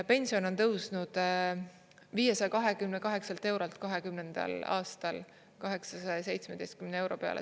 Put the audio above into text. Pension on tõusnud 528 eurolt 20. aastal 817 euro peale.